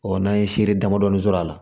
n'an ye seri damadɔni sɔrɔ a la